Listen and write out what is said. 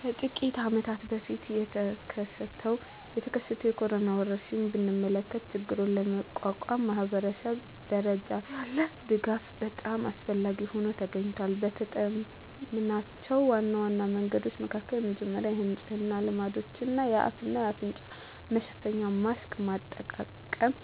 ከጥቂት አመታት በፊት የተከሰተውን የኮሮና ወረርሽኝ ብንመለከ ችግሩን ለመቋቋም ማኅበረሰብ ደረጃ ያለ ድጋፍ በጣም አስፈላጊ ሆኖ ተገኝቷል። የተጠምናቸው ዋና ዋና መንገዶች መካከል የመጀመሪያው ስለንጽህና ልማዶች፣ የአፍ እና አፍንጫ መሸፈኛ ማስክ አጠቃቀም፣